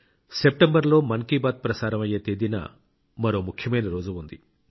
సెప్టెంబర్లో మన్ కీ బాత్ ప్రసారం అయ్యే తేదీన మరో ముఖ్యమైన రోజు ఉంది